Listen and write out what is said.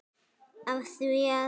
Af því að.